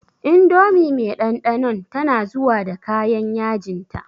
Indomie me ɗanɗanon tana zuwa da kayan yajinta.